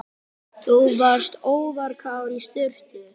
Þú varst óvarkár í sturtu.